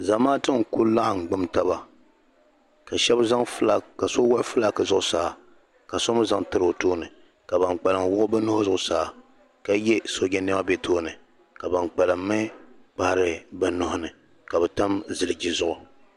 zamaatu n-ku laɣim gbum taba ka so wuɣi fulaaki zuɣusaa ka so zaŋ tiri o tooni ka ban kpalim wuɣi bɛ nuhi zuɣusaa ka ye sooja nɛma be tooni ka ban kpalim mi kpahiri bɛ nuhi ni ka bɛ tam ziliji zuɣu